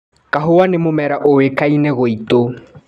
Kahũa nĩ mũmera ũĩkaine gwitu.